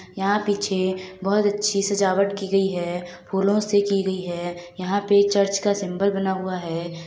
यहाँ पीछे बहुत अच्छी सजावट की गई है फूलों से की गई है यहाँ पे चर्च का सिम्बल बना हुआ है ।